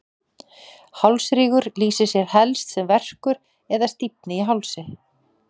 hálsrígur lýsir sér helst sem verkur eða stífni í hálsi